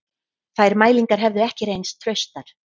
Þær mælingar hefðu ekki reynst traustar